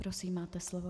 Prosím, máte slovo.